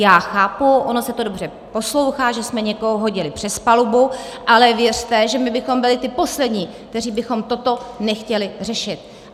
Já chápu, ono se to dobře poslouchá, že jsme někoho hodili přes palubu, ale věřte, že my bychom byli ti poslední, kteří bychom toto nechtěli řešit.